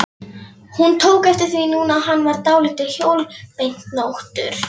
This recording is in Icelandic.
Hún tók eftir því núna að hann var dálítið hjólbeinóttur.